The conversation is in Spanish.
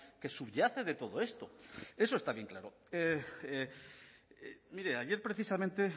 que subyace de todo esto eso está bien claro mire ayer precisamente